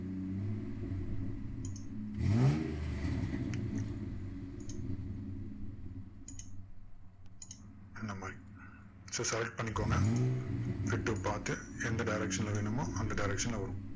இந்த மாதிரி so select பண்ணிக்கோங்க fit to path உ எந்த direction ல வேணுமோ அந்த direction ல வரும்